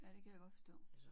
Ja det kan jeg godt forstå